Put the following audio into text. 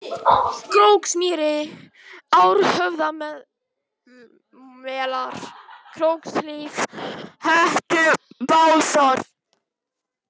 Króksmýri, Árhöfðamelar, Krókshlíð, Hettubásar